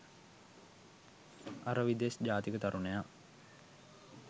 අර විදෙස් ජාතික තරුණයා